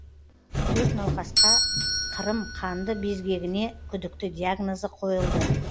төрт науқасқа қырым қанды безгегіне күдікті диагнозы қойылды